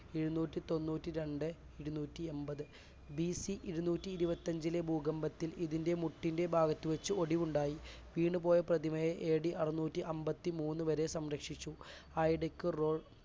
ഇരുനൂറ്റിതൊണ്ണൂറ്റിരണ്ട് ഇരുനൂറ്റിഎൺപത് ബിസി ഇരുനൂറ്റിഇരുപത്തിഅഞ്ചിലെ ഭൂകമ്പത്തിൽ ഇതിൻറെ മുട്ടിന്റെ ഭാഗത്ത് വെച്ച് ഒടിവുണ്ടായി. വീണുപോയ പ്രതിമയെ എ ഡി അറുന്നൂറ്റിയന്പത്തിമൂന്നുവരെ സംരക്ഷിച്ചു ആയിടയ്ക്ക് റോ